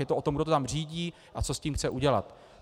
Je to o tom, kdo to tam řídí a co s tím chce udělat.